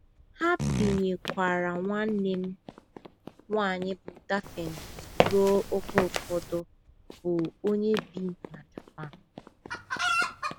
Ha binyekwaara nwanne m nwanyị bụ́ Daphne ruo oge ụfọdụ, bụ́ onye bi bụ́ onye bi na Japan.